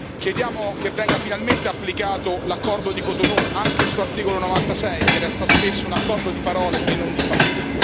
Chiediamo che venga finalmente applicato l'accordo di Cotonou, anche il suo articolo 96, che resta spesso un accordo di parole e non di fatti.